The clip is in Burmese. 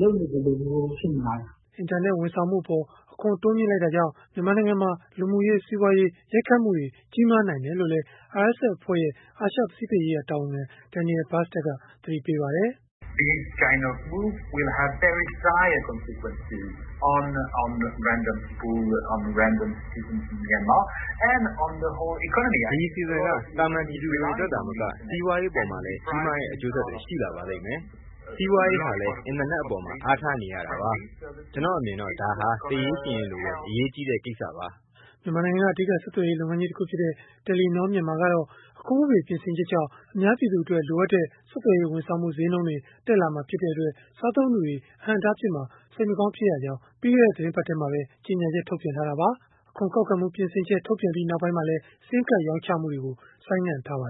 လုပ်နေသလိုမျိုး ဖြစ်နေပါတယ်။” အင်တာနက် ဝန်ဆောင်မှုအပါ် အခွန်တိုးမြှင့်လိုက်တာကြောင့် မြန်မာနိုင်ငံမှာ လူမှုရေး၊ စီးပွားရေး ရိုက်ခတ်မှုတွေ ကြီးမားနိုင်တယ်လို့လည်း RSF အဖွဲ့ရဲ့ အာရှ၊ ပစိဖိတ်ရေးရာ တာဝန်ခံ Daniel Bastard က သတိပေးပါတယ်။ “ဒီအစီအစဉ်က သာမာန်ပြည်သူတွေအတွက် သာမက စီးပွားရေး အပေါ်မှာလည်း ကြီးမားတဲ့ အကျိုးဆက်တွေ ရှိလာပါလိမ့်မယ်။ စီးပွားရေးဟာလည်း အင်တာနက်အပေါ် အားထားနေရတာပါ။ ကျနော့်အမြင်တော့ ဒါဟာသေရေးရှင်ရေးလို အရေးကြီးတဲ့ ကိစ္စပါ။” မြန်မာနိုင်ငံက အဓိက ဆက်သွယ်ရေး လုပ်ငန်းကြီးတခုဖြစ်တဲ့ တယ်လီနော၊ မြန်မာကတော့ အခွန်ဥပဒေ ပြင်ဆင်ချက်ကြောင့် အများပြည်သူအတွက် လိုအပ်တဲ့ ဆက်သွယ်ရေး ဝန်ဆောင်မှု ဈေးနှုန်းတွေ တက်လာမှာဖြစ်တဲ့အတွက် သုံးစွဲသူတွေအတွက် အဟန့်အတားဖြစ်မှာ စိတ်မကောင်း ဖြစ်ရကြောင်း ပြီးခဲ့တဲ့ သီတင်းပတ်ထဲမှာပဲ ကြေညာချက် ထုတ်ပြန်ခဲ့တာပါ။ အခွန်ကောက်ခံမှု ပြင်ဆင်ချက် ထုတ်ပြန်ပြီးနောက်ပိုင်းမှာလည်း SIM Card ရောင်းချမှုတွေကို ဆိုင်းငံ့ထားပါ